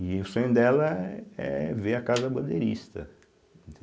E o sonho dela é é ver a Casa Bandeirista,